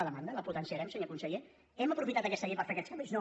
la demanda la potenciarem senyor conseller hem aprofitat aquesta llei per fer aquests canvis no